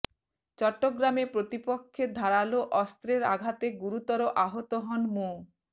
চট্টগ্রামে প্রতিপক্ষের ধারালো অস্ত্রের আঘাতে গুরুতর আহত হন মো